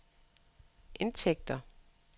indtægter